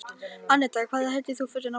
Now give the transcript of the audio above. Anetta, hvað heitir þú fullu nafni?